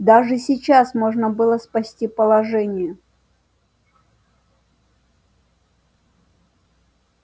даже сейчас можно было спасти положение